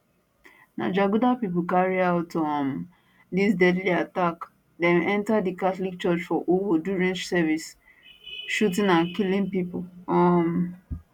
na jaguda pipo carry out um dis deadly attack dem enta di catholic church for owo during service shooting and killing pipo um